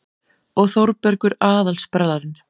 Og Þórbergur aðal-sprellarinn.